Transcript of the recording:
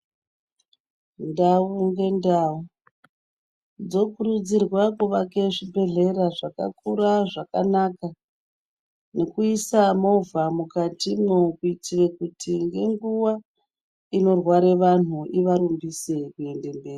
Ndau nendau dzokurudzirwa kuvake zvibhedhleya zvakakura zvakanaka ngekuisa movha mukati imomo kuti kuitira nguva inorware vanhu ivarumbise kuendemberi